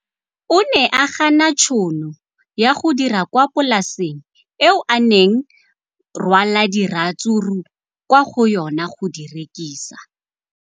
O ne a gana tšhono ya go dira kwa polaseng eo a neng rwala diratsuru kwa go yona go di rekisa.